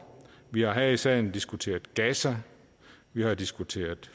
vi har her i salen diskuteret gaza vi har diskuteret